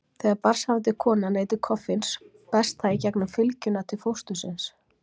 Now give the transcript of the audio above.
Þegar barnshafandi kona neytir koffíns berst það í gegnum fylgjuna til fóstursins.